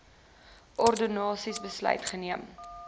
ordonnansie besluit geneem